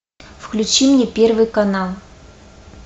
включи мне первый канал